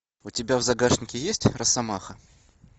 у тебя в загашнике есть росомаха